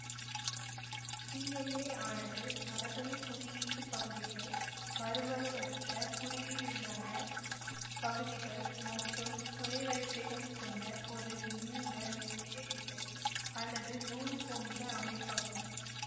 DNA யானது மரபணு குறியீட்டுப் பகுதிகள் மரபணுவற்ற குறியீடல்லாத பகுதிகள் மற்றும் துணை வரிசைகள் கொண்ட ஒரு நீண்ட மெல்லிய இழை அல்லது நூல் போன்ற அமைப்பாகும்